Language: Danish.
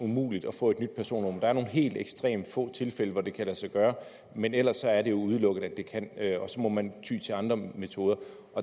umuligt at få et nyt personnummer der er nogle helt ekstremt få tilfælde hvor det kan lade sig gøre men ellers er det jo udelukket at det kan det og så må man ty til andre metoder